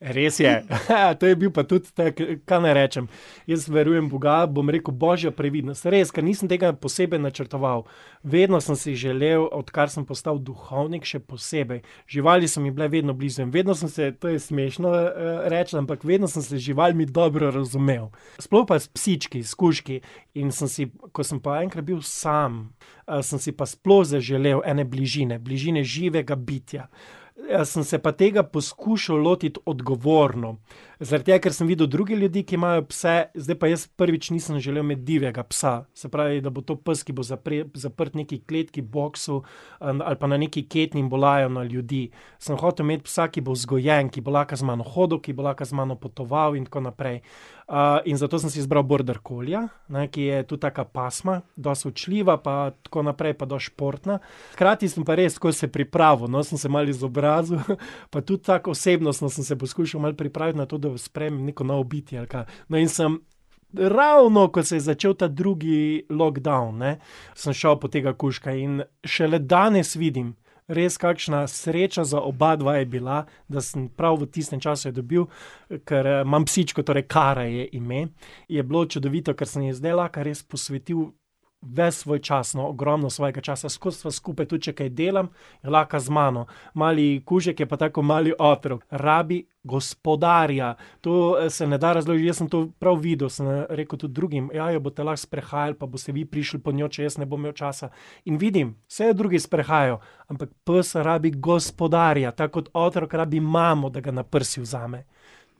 Res je, to je bil pa tudi tako, ka naj rečem, jaz verujem v Boga, bom rekel Božjo previdnost, res, ker nisem tega posebej načrtoval. Vedno sem si želel, odkar sem postal duhovnik še posebej, živali so mi bile vedno blizu in vedno sem se, to je smešno, reči, ampak vedno sem se z živalmi dobro razumel. Sploh pa s psički, s kužki. In sem si, ko sem pa enkrat bil sam, sem si pa sploh zaželel ene bližine, bližine živega bitja. sem se pa tega poskušal lotiti odgovorno. Zaradi tega, ker sem videl druge ljudi, ki imajo pse, zdaj pa jaz prvič nisem želel imeti divjega psa, se pravi, da to bo to pes, ki bo zaprt v neki kletki, boksu, ali pa na nekaj ketni in bo lajal na ljudi. Sem hotel imeti psa, ki bo vzgojen, ki bo lahko z mano hodil, ki bo lahko z mano potoval in tako naprej. in zato sem si izbral border collieja, ne, ki je tudi taka pasma, dosti učljiva pa tako naprej pa dosti športna. Hkrati sem pa res tako se pripravil, no, sem se malo izobrazil, pa tudi tako osebnostno sem se poskušal malo pripraviti na to, da sprejmem neko novo bitje ali kaj. No, in sem ravno, ko se je začel ta drugi lockdown, ne, sem šel po tega kužka, in šele danes vidim, res, kakšna sreča za obadva je bila, da sem prav v tistem času jo dobil, ker imam psičko, torej, Kara ji je ime, je bilo čudovito, ker sem ji zdaj lahko res posvetil ves svoj čas, no, ogromno svojega časa, skozi sva skupaj, tudi če kaj delam, lahko z mano. Mali kužek je pa tako ko mali otrok. Rabi gospodarja, to se ne da jaz sem to prav videl, sem rekel tudi drugim: "Ja, jo boste lahko sprehajali pa boste vi prišli po njo, če jaz ne bom imel časa." In vidim, saj jo drugi sprehajajo, ampak pes rabi gospodarja, tako kot otrok rabi imamo, da ga na prsi vzame.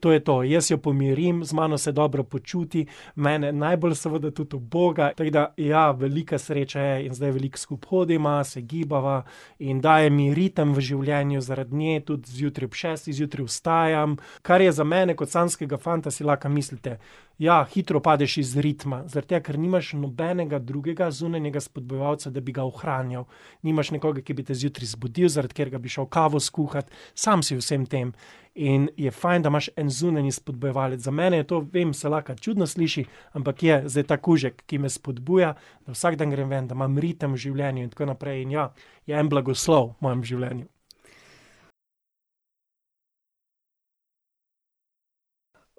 To je to, jaz jo pomirim, z mano se dobro počuti, mene najbolj seveda tudi uboga, tako da ja, velika sreča je in zdaj veliko skupaj hodiva, se gibava in daje mi ritem v življenju, zaradi nje tudi zjutraj, ob šestih zjutraj vstajam, kar je za mene kot samskega fanta, si lahko mislite, ja, hitro padeš iz ritma, zaradi tega ker nimaš nobenega drugega zunanjega spodbujevalca, da bi ga ohranjal. Nimaš nekoga, ki bi te zjutraj zbudil, zaradi katerega bi šel kavo skuhat, sam si v vsem tem. In je fajn, da imaš en zunanji spodbujevalec, za mene je to, vem, se lahko čudno sliši, ampak je, zdaj ta kužek, ki me spodbuja, da vsak dan grem ven, da imam ritem v življenju in tako naprej in, ja, je en blagoslov v mojem življenju.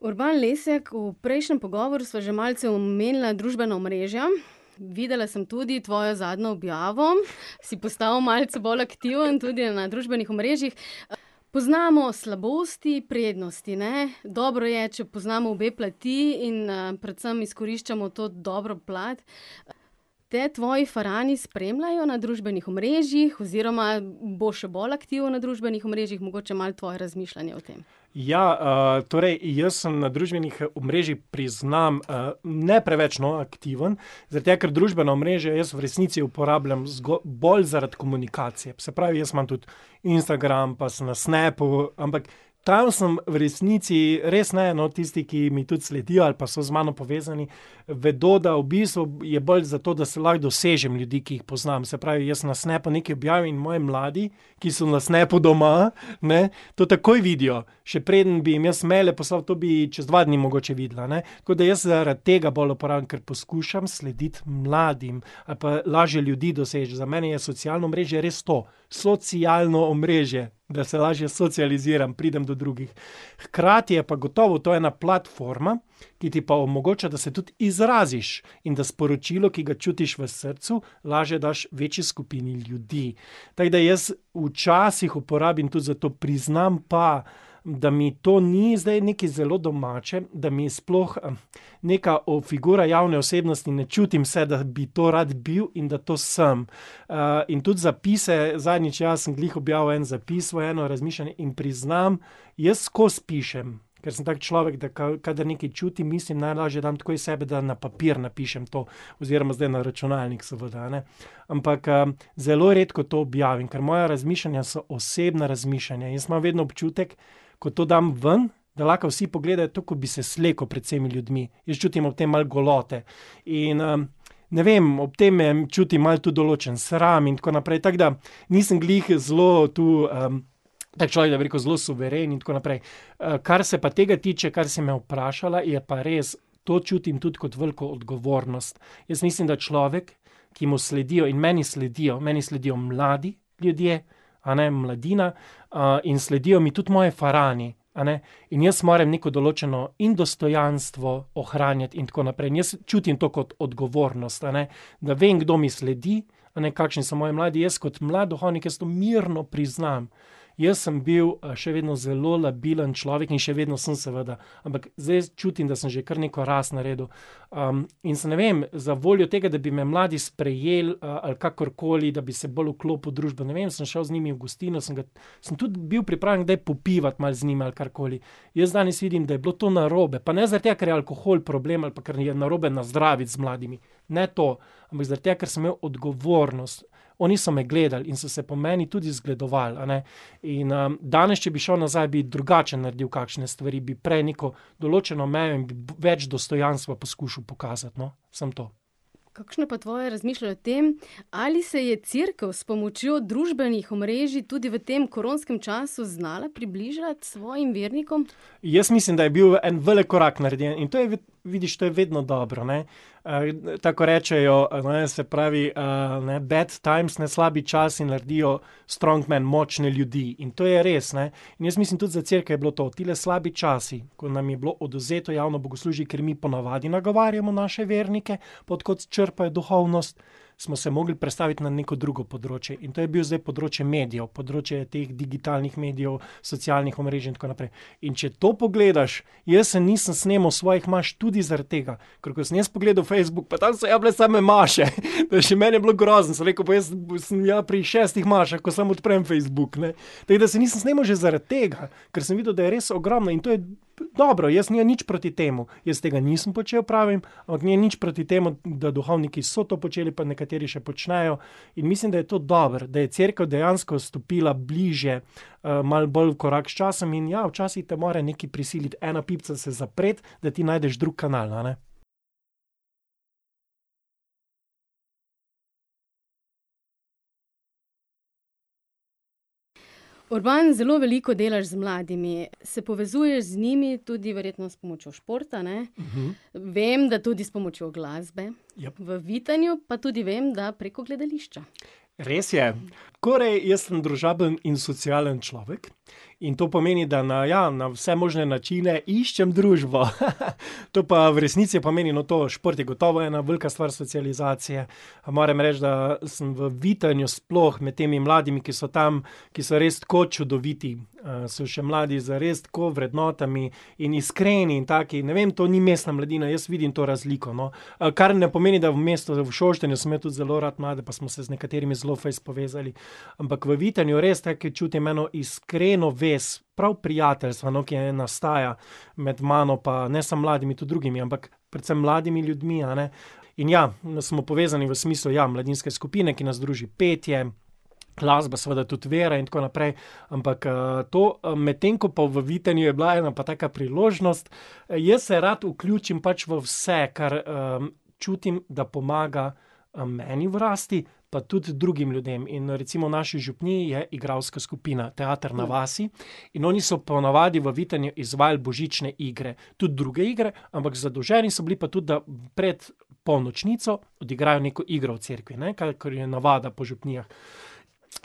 Urban Lesjak, v prejšnjem pogovoru sva že malce omenila družbena omrežja. Videla sem tudi tvojo zadnjo objavo, si postal malce bolj aktiven tudi na družbenih omrežjih. Poznamo slabosti, prednosti, ne. Dobro je, če poznamo obe plati in, predvsem izkoriščamo to dobro plat. Te tvoji farani spremljajo na družbenih omrežjih oziroma boš še bolj aktiven na družbenih omrežjih? Mogoče malo tvoje razmišljanje o tem. Ja, torej, jaz sem na družbenih omrežjih, priznam, ne preveč, no, aktiven, zaradi tega, ker družbena omrežja jaz v resnici uporabljam zgolj zaradi komunikacije, se pravi, jaz imam tudi Instagram, pa sem na Snapu, ampak tam sem v resnici res en od tistih, ki mi tudi sledijo ali pa pa so z mano povezani, vedo, da v bistvu je bolj zato, da se lahko dosežem ljudi, ki jih poznam, se pravi, jaz na Snapu nekaj objavim in moji mladi, ki so na Snapu doma, ne, to takoj vidijo, še preden bi jim jaz maile poslal, to bi čez dva dni mogoče videla, a ne. Tako da jaz zaradi tega bolj uporabljam, ker poskušam slediti mladim. pa lažje ljudi dosežeš, za mene je socialno omrežje res to. Socialno omrežje. Da se lažje socializiram, pridem do drugih. Hkrati je pa gotovo to ena platforma, ki ti pa omogoča, da se tudi izraziš in da sporočilo, ki ga čutiš v srcu, lažje daš večji skupini ljudi. Tako da jaz včasih uporabim tudi za to, priznam pa, da mi to ni zdaj nekaj zelo domače, da mi sploh, neka figura javne osebnosti, ne čutim se, da bi to rad bil in da to sem. in tudi zapise, zadnjič, ja, sem glih objavil en zapis v eno razmišljanje in priznam, jaz skozi pišem, ker sem tak človek, da kadar nekaj čutim, mislim, najlaže dam tako iz sebe, da na papir napišem to oziroma zdaj na računalnik, seveda, a ne. Ampak, zelo redko to objavim, ker moja razmišljanja so osebna razmišljanja, jaz imam vedno občutek, ko to dam ven, da lahko vsi pogledajo tu, ko bi se slekel pred vsemi ljudmi. Jaz čutim ob tem malo golote. In, ne vem, ob tem čutim malo tudi določen sram in tako naprej, tako da nisem glih zelo tu, tak človek, da bi rekel, zelo suveren in tako naprej. kar se pa tega tiče, kar si me vprašala, je pa res. To čutim tudi kot veliko odgovornost. Jaz mislim, da človek, ki mu sledijo, in meni sledijo, meni sledijo mladi ljudje, a ne, mladina, in sledijo mi tudi moji farani, a ne. In jaz moram neko določeno in dostojanstvo ohranjati in tako naprej, in jaz čutim to kot odgovornost, a ne. Da vem, kdo mi sledi, a ne, kakšni so moji mladi, jaz kot mlad duhovnik, jaz to mirno priznam, jaz sem bil, še vedno zelo labilen človek in še vedno sem, seveda. Ampak zdaj jaz čutim, da sem že kar neko rast naredil. in sem, ne vem, za voljo tega, da bi me mladi sprejeli, ali kakorkoli, da bi se bolj vklopil v družbo, ne vem, sem šel z njimi v gostilno, sem ga, sem tudi bil pripravljen kdaj popivati malo z njimi ali karkoli. Jaz danes vidim, da je bilo to narobe, pa ne zaradi tega, ker je alkohol problem ali pa kar je narobe nazdraviti z mladimi. Ne to. Ampak zaradi tega, ker sem imel odgovornost. Oni so me gledali in so se po meni tudi zgledovali, a ne. In, danes, če bi šel nazaj, bi drugače naredil kakšne stvari, bi prej neko določeno mejo in bi več dostojanstva poskušal pokazati, no. Samo to. Kakšno je pa tvoje razmišljanje o tem, ali se je Cerkev s pomočjo družbenih omrežij tudi v tem koronskem času znala približati svojim vernikom? Jaz mislim, da je bil en velik korak narejen, in to je, vidiš, to je vedno dobro, ne. tako kot rečejo, no, se pravi, ne: bad times, ne, slabi časi, naredijo strong men, močne ljudi. In to je res, ne, in jaz mislim, tudi za Cerkev je bilo to, tile slabi časi, ko nam je bilo odvzeto javno bogoslužje, kjer mi ponavadi nagovarjamo naše vernike, od kod črpaj duhovnost, smo se mogli prestaviti na neko drugo področje. In to je bilo zdaj področje medijev, področje teh digitalnih medijev, socialnih omrežij in tako naprej. In če to pogledaš, jaz se nisem snemal svojih imaš tudi zaradi tega, ker ko sem jaz pogledal Facebook, pa tam so ja bile same maše. Da še meni je bilo grozno, sem rekel: "Pa jaz sem ja pri šestih mašah, ko samo odprem Facebook, ne." Tako da se nisem snemal že zaradi tega. Ker sem videl, da je res ogromno, in to je dobro in jaz nimam nič proti temu. Jaz tega nisem počel, pravim, ampak nimam nič proti temu, da duhovniki so to počeli pa nekateri še počnejo. In mislim, da je to dobro, da je Cerkev dejansko stopila bližje, malo bolj korak s časom, in ja, včasih te mora nekaj prisiliti, ena pipica se zapreti, da ti najdeš drug kanal, a ne. Urban, zelo veliko delaš z mladimi. Se povezuješ z njimi tudi verjetno s pomočjo športa, ne. Vem, da tudi s pomočjo glasbe. Ja. V Vitanju pa tudi vem, da preko gledališča. Res je. Korej, jaz sem družaben in socialen človek in to pomeni, da na, ja, na vse možne načine iščem družbo . To pa v resnici pomeni, no, to, šport je gotovo ena velika stvar socializacije, moram reči, da sem v Vitanju, sploh med temi mladimi, ki so tam, ki so res tako čudoviti, so še mladi zares tako vrednotami, in iskreni, taki, ne vem, to ni mestna mladina, jaz vidim to razliko, no. kar ne pomeni, da v mestu, v Šoštanju sem imel tudi zelo rad mlade pa smo se z nekaterimi zelo fejst povezali. Ampak v Vitanju res tako ke čutim eno iskreno vez, prav prijateljstvo, no, ki je, nastaja med mano pa ne samo mladimi, tudi drugimi, ampak predvsem mladimi ljudmi, a ne. In ja, da smo povezani v smislu, ja, mladinske skupine, ki nas druži, petje, glasba, seveda tudi vera in tako naprej, ampak, to, medtem ko pa v Vitanju je bila ena pa taka priložnost. Jaz se rad vključim pač v vse, kar, čutim, da pomaga, meni rasti, pa tudi drugim ljudem, in recimo v naši župniji je igralska skupina Teater na vasi in oni so ponavadi v Vitanju izvajali božične igre. Tudi druge igre, ampak zadolženi so bili pa tudi, da pred polnočnico igrajo neko igro v cerkvi, ne, kakor je navada po župnijah.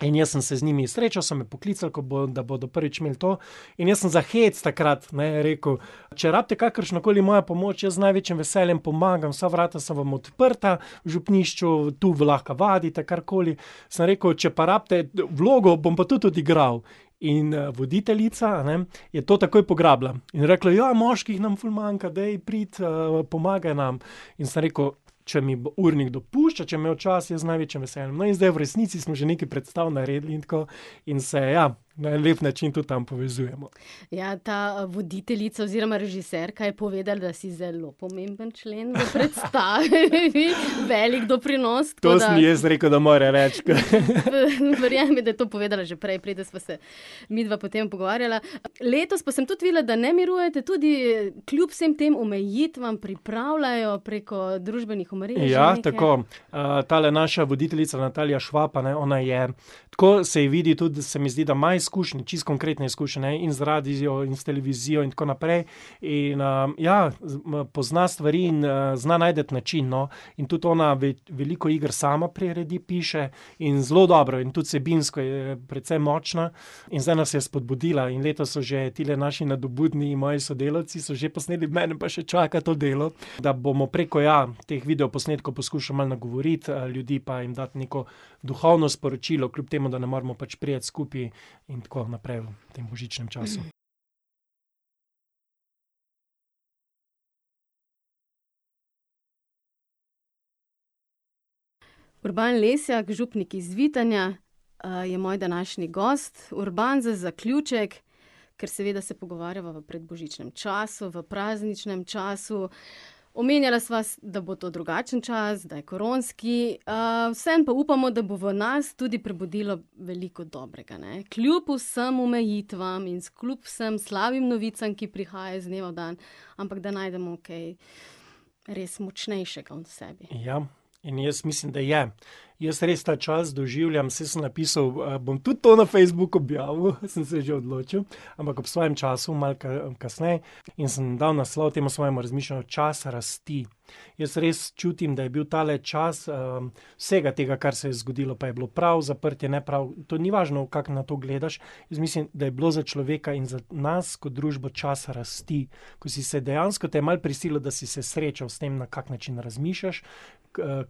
In jaz sem se z njimi srečal, so me poklicali, kako, da bodo prvič imeli to, in jaz sem za hec takrat, ne, rekel: "Če rabite kakršnokoli mojo pomoč, jaz z največjim veseljem pomagam, vsa vrata so vam odprta, v župnišču, tu, lahko vadite, karkoli." Sem rekel: "Če pa rabite vlogo, bom pa tudi odigral." In, voditeljica, a ne, je to takoj pograbila. In je rekla: "Ja, moških nam ful manjka, daj pridi, pomagaj nam." In sem rekel: "Če mi bo urnik dopuščal, če bom imel čas, in z največjim veseljem." No, in zdaj v resnici smo že nekaj predstav naredili in tako, in se, ja, na lep način tudi tam povezujemo. Ja, ta voditeljica oziroma režiserka je povedala, da si zelo pomemben člen predstave . Veliko doprinos. To sem ji jaz rekel, da mora reči. Verjemi da, je to povedala že prej preden, sva se midva potem pogovarjala. Letos pa sem tudi videla, da ne mirujete, tudi kljub vsem tem omejitvam pripravljajo preko družbenih omrežij, ne. Ja, tako. tale naša voditeljica, [ime in priimek] , a ne, ona je, tako se ji vidi tudi, da se mi zdi, da ima izkušnje, čisto konkretne izkušnje, ne, in z radiom in s televizijo in tako naprej. In, ja, pozna stvari in, zna najti način, no. In tudi ona veliko iger sama priredi, piše in zelo dobro in tudi vsebinsko je precej močna. In zdaj nas je spodbudila in letos so že tile naši nadobudni naši sodelavci so že posneli, mene pa še čaka to delo, da bomo preko, ja, teh videoposnetkov poskušali malo nagovoriti, ljudi pa jim dati neko duhovno sporočilo, kljub temu da ne moremo pač priti skupaj in tako naprej v tem božičnem času. Urban Lesjak, župnik iz Vitanja, je moj današnji gost. Urban, za zaključek, ker seveda se pogovarjava v predbožičnem času, v prazničnem času, omenjala sva da bo to drugačen čas, da je koronski, vseeno pa upamo, da bo v nas tudi prebudilo veliko dobrega, ne. Kljub vsem omejitvam in kljub vsem slabim novicam, ki prihajajo iz dneva v dan, ampak da najdemo kaj res močnejšega v sebi. Ja. In jaz mislim, da je. Jaz res ta čas doživljam, saj sem napisal, bom tudi to na Facebook objavil, sem se že odločil, ampak ob svojem času, malo kasneje, in sem dal naslov temu svojemu razmišljanju Čas rasti. Jaz res čutim, da je bil tale čas, vsega tega, kar se je zgodilo, pa je bilo prav zaprtje, ne prav, to ni važno, kako na to gledaš, jaz mislim, da je bilo za človeka in za nas kot družbo čas rasti. Ko si se dejansko, te je malo prisililo, da si se srečal s tem, na kak način razmišljaš,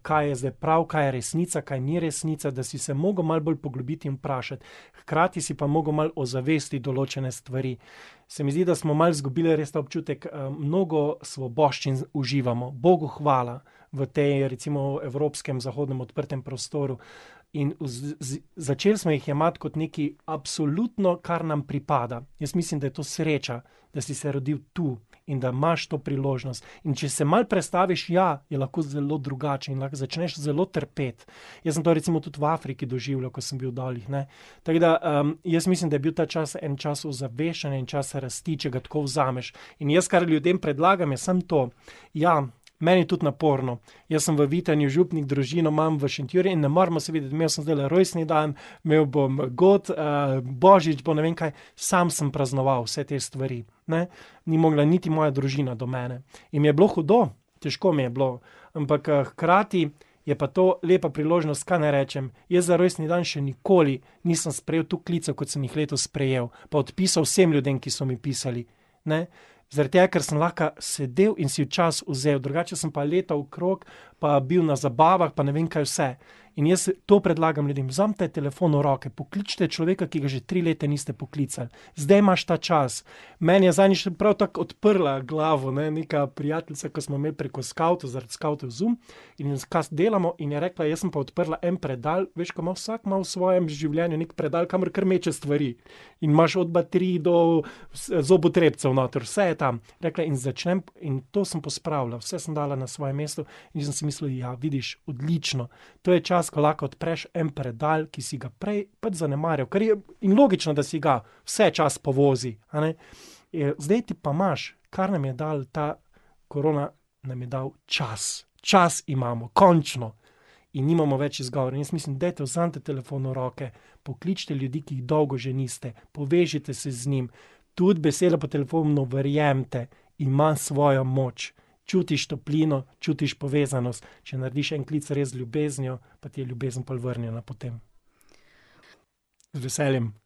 kaj je zdaj prav, kaj je resnica, kaj ni resnica, da si se mogel malo bolj poglobiti in vprašati. Hkrati si pa mogel malo ozavestiti določene stvari. Se mi zdi, da smo malo izgubili res ta občutek, mnogo svoboščin uživamo, Bogu hvala. V tej recimo evropskem zahodnem odprtem prostoru. In začeli smo jih jemati kot nekaj absolutno, kar nam pripada. Jaz mislim, da je to sreča, da si se rodil tu in da imaš to priložnost. In če se malo prestaviš, ja, je lahko zelo drugače, začneš zelo trpeti. Jaz sem to recimo tudi v Afriki doživljal, ko sem bil dol, ne. Tako da, jaz mislim, da je bil ta čas en čas ozaveščanja in čas rasti, če ga tako vzameš. In jaz, kar ljudem predlagam, je samo to, ja, meni je tudi naporno, jaz sem v Vitanju župnik, družino imam v Šentjurju in ne moremo se videti, imel sem zdajle rojstni dan, imel bom god, božič bo, ne vem kaj. Sam sem praznoval vse te stvari, ne. Ni mogla niti moja družina do mene. In mi je bilo hudo, težko mi je bilo. Ampak, hkrati je pa to lepa priložnost, kaj naj rečem, jaz za rojstni dan še nikoli nisem sprejel toliko klicev, kot sem jih letos sprejel. Pa odpisal vsem ljudem, ki so mi pisali, ne. Zaradi tega, ker sem lahko sedel in si čas vzel, drugače sem pa letal okrog pa bil na zabavah pa ne vem kaj vse. In jaz to predlagam ljudem: "Vzemite telefon v roke, pokličite človeka, ki ga že tri leta niste poklicali." Zdaj imaš ta čas. Meni je zadnjič tudi prav tako odprla glavo, ne, neka prijateljica, ke smo imeli preko skavtov, zaradi skavtov Zoom, in delamo in je rekla: "Jaz sem pa odprla en predal, veš, ke ima vsak malo v svojem življenju neki predal, kamor kar meče stvari. In imaš od baterij do zobotrebcev noter, vse je tam." Je rekla: "In začnem in to sem pospravila, vse sem dala na svoje mesto." In sem si mislil: "Ja, vidiš, odlično." To je čas, ko lahko odpreš en predal, ki si ga prej pač zanemaril, kar je, in logično, da si ga, vse čas povozi, a ne. Je, zdaj pa imaš, kar nam je dala ta korona, nam je dala čas. Čas imamo, končno. In nimamo več izgovora, in jaz mislim: "Dajte, vzemite telefon v roke, pokličite ljudi, ki jih dolgo že niste. Povežite se z njimi." Tudi beseda po telefonu, verjemite, ima svojo moč. Čutiš toplino, čutiš povezanost. Če narediš en klic res z ljubeznijo, je ljubezen pol vrnjena potem. Z veseljem.